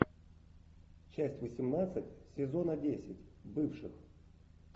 часть восемнадцать сезона десять бывших